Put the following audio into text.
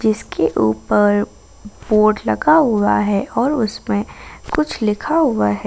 जिसके ऊपर बोर्ड लगा हुआ हैं और उसमें कुछ लिखा हुआ है।